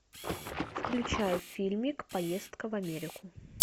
включай фильмик поездка в америку